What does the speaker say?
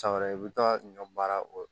San wɛrɛ i bɛ taa ɲɔ baara o